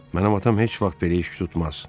Mənim atam heç vaxt belə iş tutmaz.